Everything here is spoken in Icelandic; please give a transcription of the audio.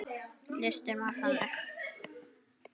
Listinn var þannig